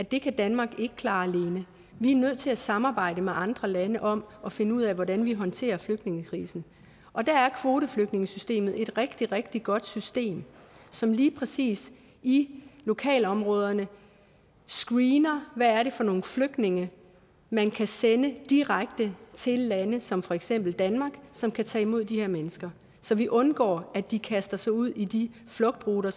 at det kan danmark ikke klare alene vi er nødt til at samarbejde med andre lande om at finde ud af hvordan vi håndterer flygtningekrisen og der er kvoteflygtningesystemet et rigtig rigtig godt system som lige præcis i lokalområderne screener hvad det er for nogle flygtninge man kan sende direkte til lande som for eksempel danmark som kan tage imod de her mennesker så vi undgår at de kaster sig ud i de flugtruter